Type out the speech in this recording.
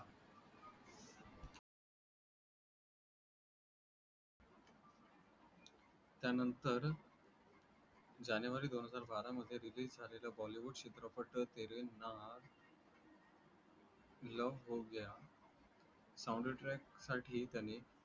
त्या नंतर जानेवारी दोन हजार बराच मध्ये release झालेला bollywood चित्रपट तेरे नाल love हो गया soundtrack साठी त्यांनी